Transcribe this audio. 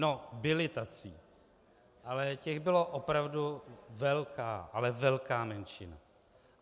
No, byli tací, ale těch byla opravdu velká, ale velká menšina.